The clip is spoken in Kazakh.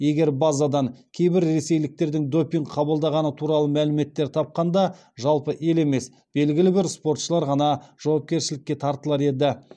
егер базадан кейбір ресейліктердің допинг қабылдағаны туралы мәліметтер тапқанда жалпы ел емес белгілі бір спортшылар ғана жауапкершілікке тартылар еді